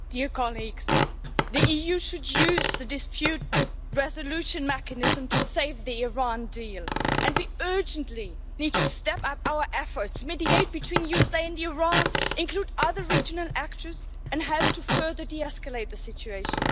Mr President, the EU should use the dispute resolution mechanism to save the Iran deal, and we urgently need to step up our efforts mediate between the USA and Iran, include other regional actors and help to further de-escalate the situation.